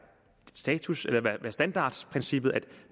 standardprincippet at